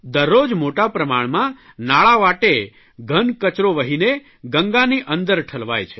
દરરોજ મોટા પ્રમાણમાં નાળાં વાટે ઘન કચરો વહીને ગંગાની અંદર ઠલવાય છે